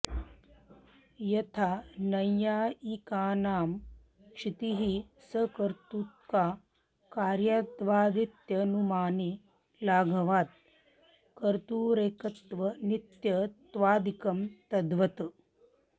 यथा नैयायिकानां क्षितिः सकर्तृका कार्यत्वादित्यनुमाने लाघवात् कर्तुरेकत्वनित्यत्वादिकं तद्वत्